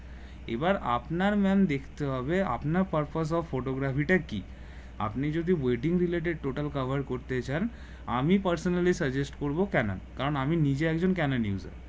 এবার আপনার ম্যাম দেখতে হবে আপনার purpose of photography টা কি আপনি যদি wedding related total cover করতে চান আমি personally suggest করবো ক্যানেন কারণ নিজে একজন ক্যানান user